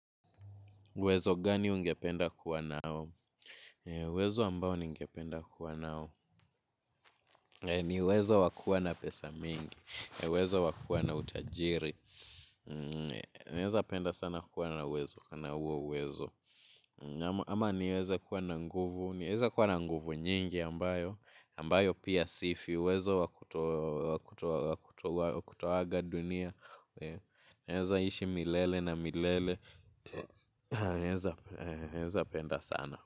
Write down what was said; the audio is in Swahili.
Uwezo gani ungependa kuwa nao? Uwezo ambao ningependa kuwa nao. Ni uwezo wa kuwa na pesa mingi. Wezo wakuwa na utajiri. Naezapenda sana kuwa na wezo. Kana huo uwezo. Ama niweze kuwa na nguvu. Ninaweza kuwa na nguvu nyingi ambayo. Ambayo pia sifi. Uwezo wa kutoaga dunia. Naeza ishi milele na milele. Naezapenda sana.